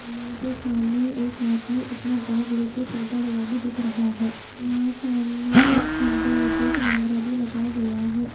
यहां पे सामने एक आदमी अपना बैग लेके चलता हुआ भी दिख रहा है और वहां सामने एक खंबे पे कैमरा भी लगा हुआ है।